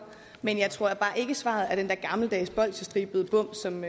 men jeg tror at svaret er den der gammeldags bolchestribede bom som